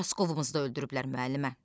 Uçaskovumuz da öldürüblər müəllimə.